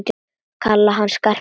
Kalla hann Skarpa og gamla!